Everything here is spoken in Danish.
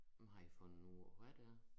Men har i fundet ud af hvad det er